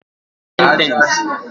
Sentence